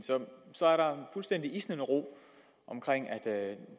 så er der fuldstændig isnende ro omkring at